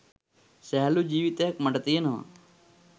සැහැල්ලු ජීවිතයක් මට තියෙනවා